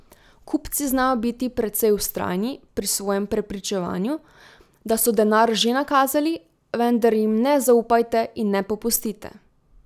Kupci znajo biti precej vztrajni pri svojem prepričevanju, da so denar že nakazali, vendar jim ne zaupajte in ne popustite!